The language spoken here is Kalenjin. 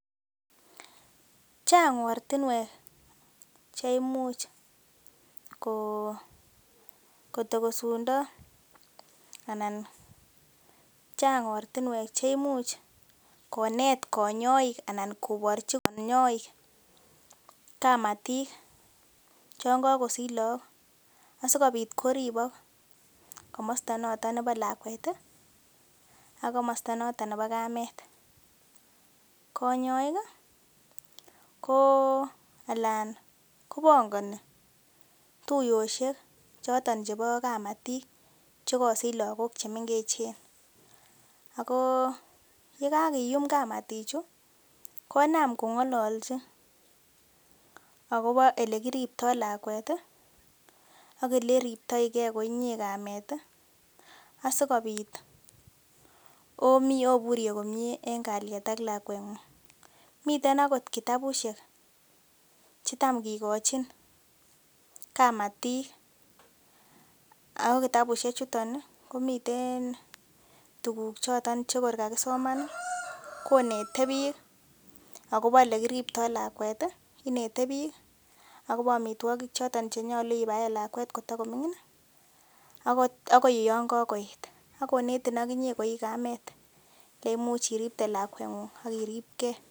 Chang ortinwek cheimuch kotokosundo anan konet konyoik koborchi kamatik chon kakosich lagok asikobit koripok komosto notet bo lakwet ak kamet, konyoi ko alan kobongoni tuyosiek choton chebo kamatik chekosich lagok chemengechen ako yekakiyum kamatichu konam kongololchi akobo ole riptoi lakwet ako ole riptogei kamet sikobit oburye komie en kalyet ak lakwengung miten ako kitabusiek chetam kikochin kamatik ako kitabusiek chuton komiten tuguk chetor kakisoman konete biik akobo ole kiriptoi lakwet, amitwogik chenyolu ibvaen lakwet kotokoming'in akonetin okinye kamet iripkei.